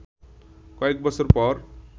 কয়েক বছর পর